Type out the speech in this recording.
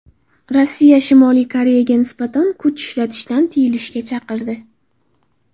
Rossiya Shimoliy Koreyaga nisbatan kuch ishlatishdan tiyilishga chaqirdi.